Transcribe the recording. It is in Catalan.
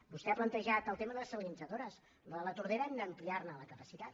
vostè ha plantejat el tema de les dessalinitzadores a la de la tordera d’ampliar ne la capacitat